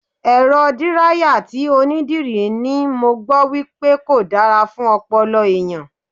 Èrọ díráyà tí onídìrí ni mo gbọ́ wípé kò dára fún ọpọlọ ẹ̀yàn.